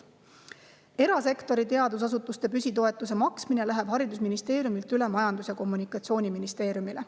Erasektori teadusasutuste püsitoetuse maksmine läheb haridusministeeriumist üle Majandus‑ ja Kommunikatsiooniministeeriumisse.